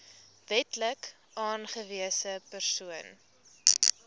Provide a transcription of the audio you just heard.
wetlik aangewese persoon